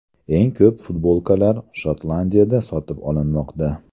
Eng ko‘p futbolkalar Shotlandiyada sotib olinmoqda.